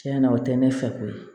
Tiɲɛna o tɛ ne fɛ ko ye